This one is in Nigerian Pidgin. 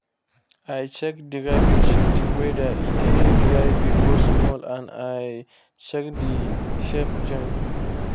i check the rabbits shit whether e dey dry big or small and i check the shape join.